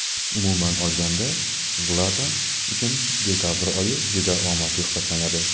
Umuman olganda, Zlatan uchun dekabr oyi juda omadli hisoblanadi.